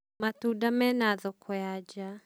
matunda me na thoko ya nja.